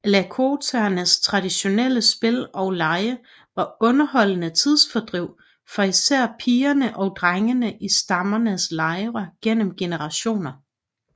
Lakotaernes traditionelle spil og lege var underholdende tidsfordriv for især pigerne og drengene i stammens lejre gennem generationer